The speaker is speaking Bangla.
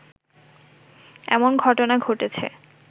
এমন ঘটনা ঘটেছে